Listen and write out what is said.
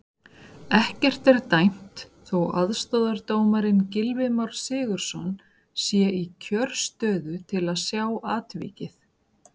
Ekkert er dæmt þó aðstoðardómarinn Gylfi Már Sigurðsson sé í kjörstöðu til að sjá atvikið.